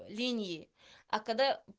линии а когда